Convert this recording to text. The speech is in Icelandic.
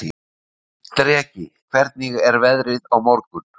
Dreki, hvernig er veðrið á morgun?